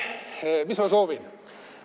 Mis ma soovin?